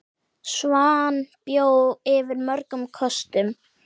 Svan bjó yfir mörgum kostum.